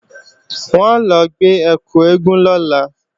Wọn ó lọ gbé ẹkù eégún lọ́la